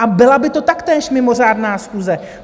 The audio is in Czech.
A byla by to taktéž mimořádná schůze.